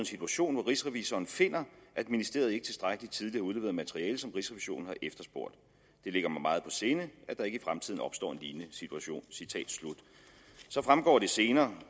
situation hvor rigsrevisionen finder at ministeriet ikke tilstrækkelig tidligt har udleveret materiale som rigsrevisionen har efterspurgt det ligger mig meget på sinde at der ikke i fremtiden opstår en lignende situation så fremgår det senere